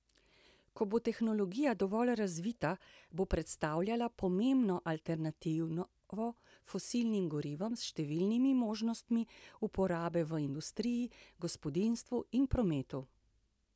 Ko bo tehnologija dovolj razvita, bo predstavljala pomembno alternativo fosilnim gorivom s številnimi možnostmi uporabe v industriji, gospodinjstvu in prometu.